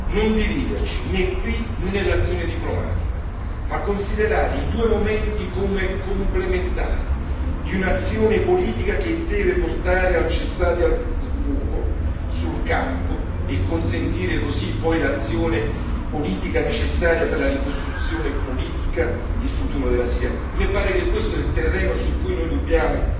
Non dividerci, né qui né nell'azione diplomatica, ma considerare i due momenti come complementari di un'azione politica che deve portare al cessate il fuoco sul campo e consentire così poi l'azione politica necessaria per la ricostruzione politica, il futuro della Siria. A me pare che questo sia il terreno su cui noi dobbiamo